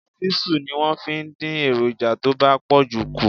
Ṣísù ni wọ́n fi ń dín èròǹjà tó bá pọ̀jù kù.